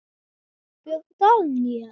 Björn Daníel?